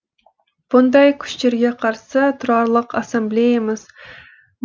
бұндай күштерге қарсы тұрарлық ассамблеямыз